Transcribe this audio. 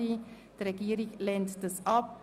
Die Regierung lehnt diesen Vorstoss ab.